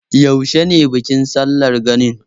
Yaushe ne bikin sallar ganin?